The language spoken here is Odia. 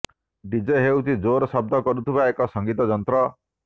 ଡିଜେ ହେଉଛି ଜୋର ଶବ୍ଦ କରୁଥିବା ଏକ ସଂଗୀତ ଯନ୍ତ୍ର